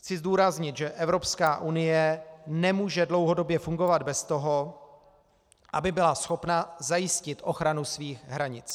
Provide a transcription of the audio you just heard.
Chci zdůraznit, že Evropská unie nemůže dlouhodobě fungovat bez toho, aby byla schopna zajistit ochranu svých hranic.